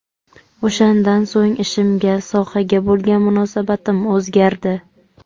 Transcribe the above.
O‘shandan so‘ng ishimga, sohaga bo‘lgan munosabatim o‘zgardi.